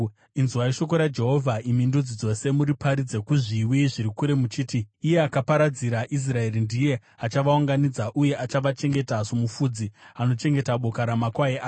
“Inzwai shoko raJehovha imi ndudzi dzose; muriparidze kuzviwi zviri kure muchiti: ‘Iye akaparadzira Israeri ndiye achavaunganidza, uye achavachengeta somufudzi anochengeta boka ramakwai ake.’